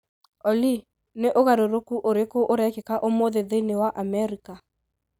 Olly, nĩ ũgarũrũku ũrĩkũ ũrekĩka ũmũthĩ thĩinĩ wa Amerika?